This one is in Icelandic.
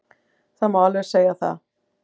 Það má alveg segja það.